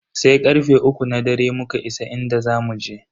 Sai karfe uku na dare muka isa inda zamu je.